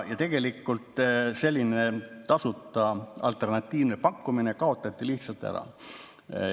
Tegelikult selline tasuta alternatiivne pakkumine kaotati lihtsalt ära.